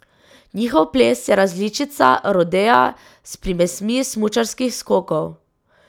Njihov ples je različica rodea s primesmi smučarskih skokov.